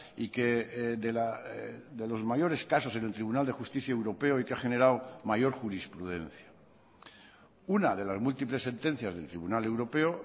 y que de los mayores casos en el tribunal de justicia europeo y que ha generado mayor jurisprudencia una de las múltiples sentencias del tribunal europeo